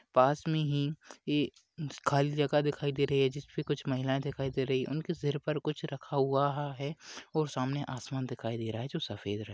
पास मे ही एक खाली जगह दिखाई दे रही है जिस मे कुछ महिलाए दिखाई दे रही उन के सिर पर कुछ रखा हुवा है और सामने आसमान दिखाई दे रहा है जो सफेद रं--